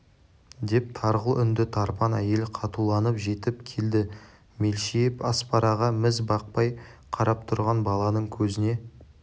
деп тарғыл үнді тарпан әйел қатуланып жетіп келді мелшиіп аспараға міз бақпай қарап тұрған баланың көзіне